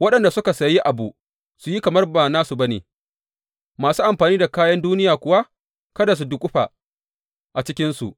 Waɗanda suka sayi abu su yi kamar ba nasu ba ne; masu amfani da kayan duniya kuwa, kada su duƙufa a cikinsu.